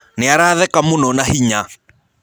Nĩaratheka mũnona hinya.